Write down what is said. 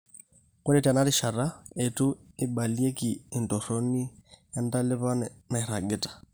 Ore tenarishata, eitu eibalieki entoroni entalipa nairagita.